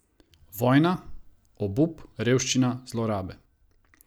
Vojna, obup, revščina, zlorabe.